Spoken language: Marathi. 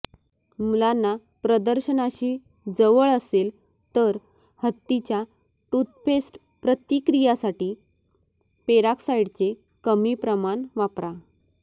मुलांना प्रदर्शनाशी जवळ असेल तर हत्तीच्या टूथपेस्ट प्रतिक्रियासाठी पेरोक्साईडचे कमी प्रमाण वापरा